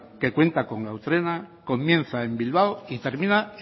que cuenta con gau trena comienza en bilbao y termina